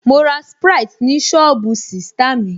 Mo ra sprite ni sọ́ọ̀bù sista mi